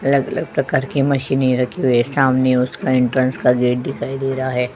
अलग अलग प्रकार की मशीने रखी हुई है। सामने उसके इंटेंस जीडी दिखाई दे रहा है।